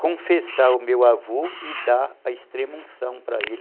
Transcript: confessar o meu avô e dar a extrema unção para ele.